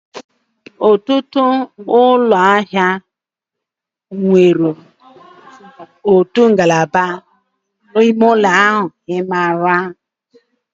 Ọtụtụ ụlọ ahịa nwere otu ngalaba ime ụlọ. I maara?